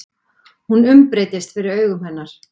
Hún umbreytist fyrir augum hennar.